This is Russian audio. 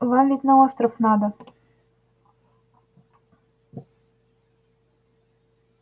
вам ведь на остров надо